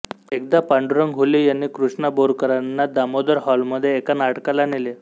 एकदा पांडुरंग हुले यांनी कृष्णा बोरकरांना दामोदर हॉलमधे एका नाटकाला नेले